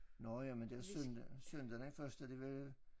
Nåh ja men der søndag søndag den første det vel